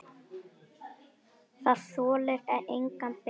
Það þolir enga bið.